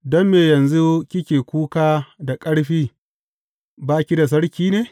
Don me yanzu kike kuka da ƙarfi, ba ki da sarki ne?